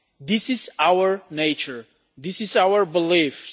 This is our nature, this is our beliefs.